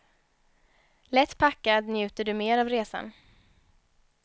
Lätt packad njuter du mer av resan.